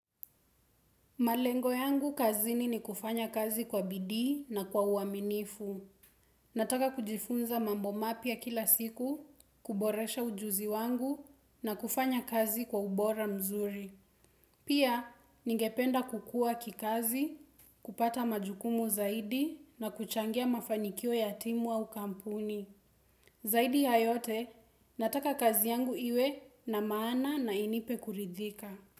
Malengo yangu kazini ni kufanya kazi kwa bidii na kwa uaminifu. Nataka kujifunza mambo mapya kila siku, kuboresha ujuzi wangu na kufanya kazi kwa ubora mzuri. Pia, ningependa kukua kikazi, kupata majukumu zaidi na kuchangia mafanikio ya timu au kampuni. Zaidi ya yote, nataka kazi yangu iwe na maana na inipe kuridhika.